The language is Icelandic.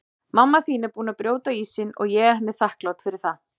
Mamma þín er búin að brjóta ísinn og ég er henni þakklát fyrir það.